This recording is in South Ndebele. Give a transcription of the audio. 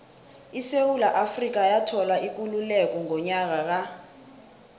isewula afrika yathola ikululeko ngonyaka ka